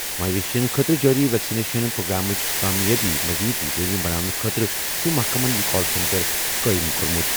مویشین خٲطرٕ جٲری ویکسِنیشن پروگرامٕچ کامیٲبی مٔزیٖد یقینی بناونہٕ خٲطرٕ چھُ محکمَن یہِ کال سینٹر قٲیِم کوٚرمُت۔